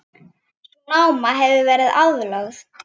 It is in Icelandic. Sú náma hefur verið aflögð.